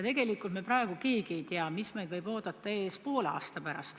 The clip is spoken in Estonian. Tegelikult keegi meist praegu ei tea, mis meid ootab ees poole aasta pärast.